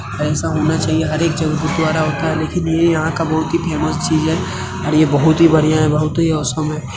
ऐसा होना चाहिए हर एक जगह गुरुद्वारा होता है। लेकिन ये यहाँ का बहुत ही फेमस चीज है और ये बहुत ही बढ़ियाँ है बहुत ही ऑसम है।